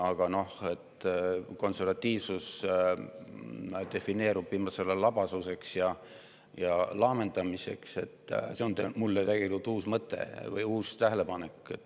Aga see, et konservatiivsus defineerub viimasel ajal labasuseks ja laamendamiseks, on minu jaoks tegelikult uus tähelepanek.